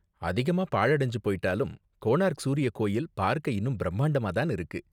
அதிகமா பாழடஞ்சு போயிட்டாலும், கோனார்க் சூரிய கோவில் பார்க்க இன்னும் பிரம்மாண்டமா தான் இருக்கு.